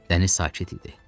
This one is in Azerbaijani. Dəniz sakit idi.